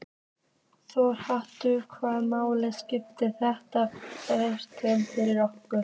Þórhallur: Hvaða máli skiptir þetta fjárhagslega fyrir okkur?